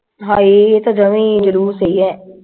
ਹਏ ਇਹ ਤੇ ਜਮਾ ਈ ਜਲੂਸ ਈ ਆ